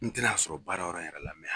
N tɛn'a sɔrɔ baarayɔrɔ yɛrɛ la